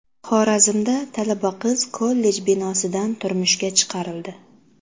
Xorazmda talaba qiz kollej binosidan turmushga chiqarildi.